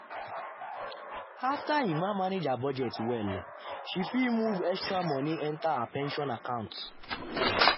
after emma manage her budget well she fit move extra money enter her pension account.